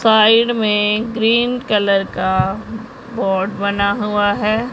Side में green colour का board बना हुआ है।